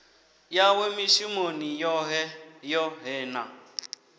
yawe mishumoni yoṱhe yoṱhe na